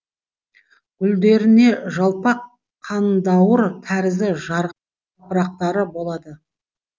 гүлдерінде жалпақ қандауыр тәрізді гүлжапырақтары болады